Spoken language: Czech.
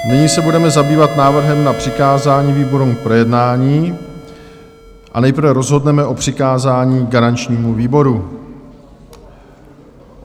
Nyní se budeme zabývat návrhem na přikázání výborům k projednání a nejprve rozhodneme o přikázání garančnímu výboru.